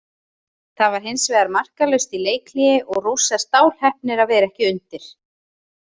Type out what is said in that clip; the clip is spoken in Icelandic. Það var hinsvegar markalaust í leikhléi og Rússar stálheppnir að vera ekki undir.